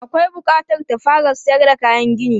Akwai bukatar ta fara sayar da kayan gini.